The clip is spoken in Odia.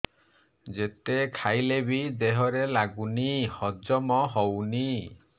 ଯେତେ ଖାଇଲେ ବି ଦେହରେ ଲାଗୁନି ହଜମ ହଉନି